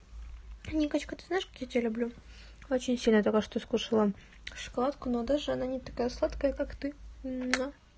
никачка ты знаешь как я тебя люблю очень сильно только что скушала шоколадку но даже она не такая сладкая как ты